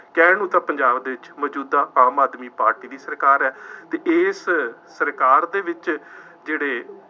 ਕਹਿਣ ਨੂੰ ਤਾਂ ਪੰਜਾਬ ਦੇ ਵਿੱਚ ਮੌਜੂਦਾ ਆਮ ਆਦਮੀ ਪਾਰਟੀ ਦੀ ਸਰਕਾਰ ਹੈ ਅਤੇ ਇਸ ਸਰਕਾਰ ਦੇ ਵਿੱਚ ਜਿਹੜੇ